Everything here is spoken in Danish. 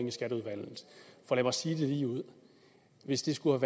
i skatteudvalget for lad mig sige det ligeud hvis det skulle